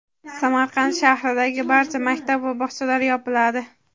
Samarqand shahridagi barcha maktab va bog‘chalar yopiladi.